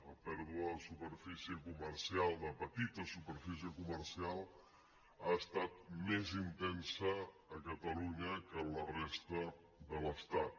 la pèrdua de superfície comercial de petita superfície comercial ha estat més intensa a catalunya que a la resta de l’estat